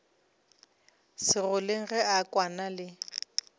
segoleng ge a kwana le